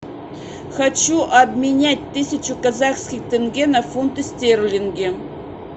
хочу обменять тысячу казахских тенге на фунты стерлинги